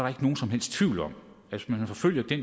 ikke nogen som helst tvivl om at hvis man forfølger det